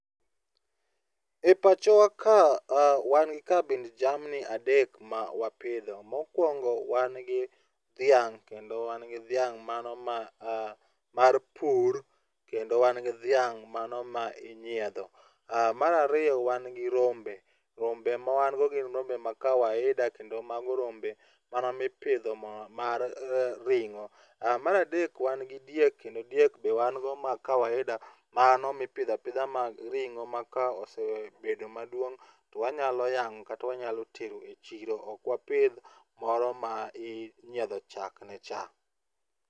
E pachowa ka wan kabind jamni adek ma wapidho. Mokwongo wan gi dhiang' kendo wan gi dhiang' mano mar pur, kendo wan gi dhiang' mano ma inyiedho. Mar ariyo wan gi rombe. Rombe ma wan go gin rombe ma kawaida kendo mago rombe mana mipidho mar ring'o. Mar adek wan gi diek, kendo dieke be wan go ma kawaida mano ma ipidho apidha mag ring'o ma ka osebedo maduong' to wanyalo yang'o kata wanyalo tero e chiro. Ok wapidh moro ma inyiedho chakne cha.